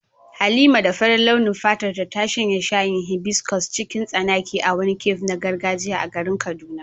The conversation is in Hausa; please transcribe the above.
Halima da farin launin fatarta ta shanye shayin hibiscus cikin tsanaki a wani cafe na gargajiya a garin Kaduna.